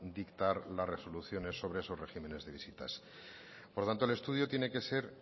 dictar las resoluciones sobre esos regímenes de visitas por tanto el estudio tiene que ser